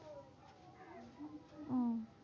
আহ